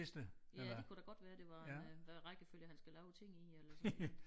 Ja det kunne da godt være det var en øh hvad rækkefølge han skal lave ting i eller sådan et eller andet